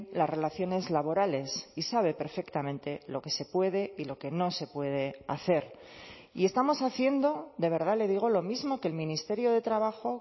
las relaciones laborales y sabe perfectamente lo que se puede y lo que no se puede hacer y estamos haciendo de verdad le digo lo mismo que el ministerio de trabajo